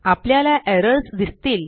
आपल्याला एरर्स दिसतील